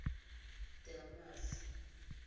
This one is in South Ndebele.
delmasi